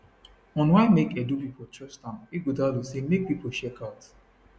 on why make edo pipo trust am ighodalo say make pipo check out